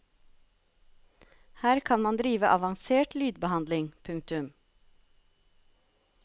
Her kan man drive avansert lydbehandling. punktum